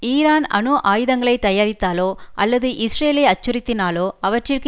Iran அணு ஆயுதங்களை தயாரித்தாலோ அல்லது இஸ்ரேலை அச்சுறுத்தினாலோ அவற்றிற்கு